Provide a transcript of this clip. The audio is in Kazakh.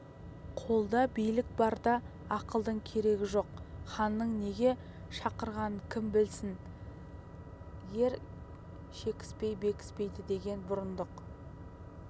қолда билік барда ақылдың керегі жоқ ханның неге шақырғанын кім білсін ер шекіспей бекіспейді деді бұрындық